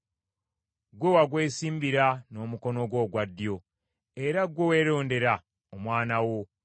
Gwe wagwesimbira n’omukono gwo ogwa ddyo, era ggwe weerondera omwana wo.